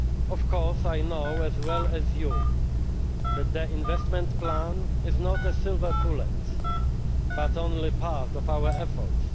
Of course, I know as well as you do that the investment plan is not a silver bullet but only part of our efforts.